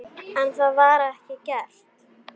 En það var ekki gert.